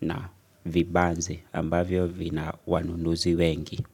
na vibanzi ambavyo vina wanunuzi wengi.